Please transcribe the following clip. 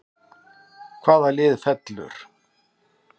Hvaða lið fellur???